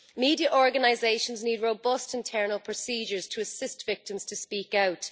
Media organisations need robust internal procedures to assist victims to speak out.